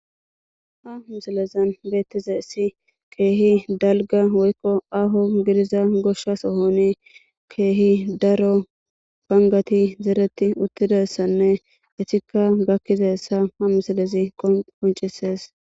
Ha misilezan bettizasi kehi dalga woykon aho gidiza gosha sohon kehi daro bangatti zereti uttidaysanne etika gakizaysa ha misileziqonc'ises.